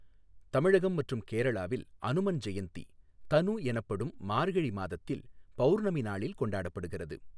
தமிழகம் மற்றும் கேரளாவில் அனுமன் ஜெயந்தி தனு எனப்படும் மார்கழி மாதத்தில் பௌர்ணமி நாளில் கொண்டாடப்படுகிறது.